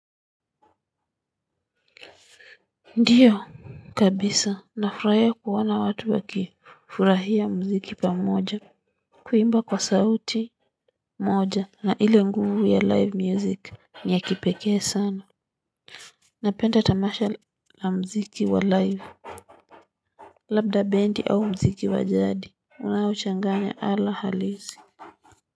Ndiyo kabisa nafurahia kuona watu wa kifurahia mziki pamoja. Kuimba kwa sauti moja na ile nguvu ya live music ni ya kipekee sana. Napenda tamasha la mziki wa live. Labda bendi au mziki wa jadi unao changanya ala halizi. Kwa hivyo.